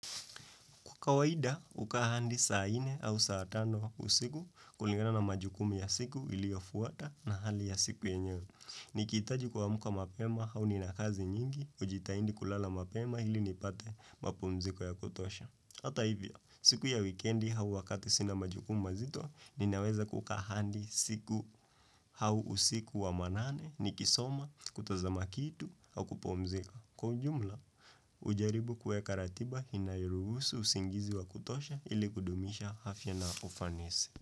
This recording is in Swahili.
Kwa kawaida, uka hadi saa nne au saa tano usiku kuligana na majukumu ya siku ili afuata na hali ya siku yenyewe. Nikitaji kuamka mapema au ninakazi nyingi, ujitaidi kulala mapema hili nipate mapumziko ya kutosha. Hata hivyo, siku ya weekendi hau wakati sina majukumi mazito, ninaweza kuka handi siku hau usiku wa manane, nikisoma, kutazama kitu, au kupumzika. Kwa jumla, ujaribu kueka ratiba inayoruhusu usingizi wa kutosha ili kudumisha afya na ufanisi.